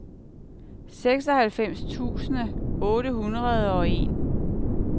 seksoghalvfems tusind otte hundrede og en